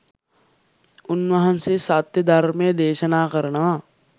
උන්වහන්සේ සත්‍ය ධර්මය දේශනා කරනවා